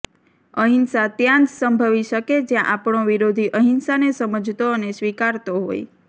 અહિંસા ત્યાં જ સંભવી શકે જ્યાં આપણો વિરોધી અહિંસાને સમજતો અને સ્વીકારતો હોય